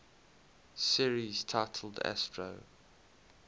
series titled astro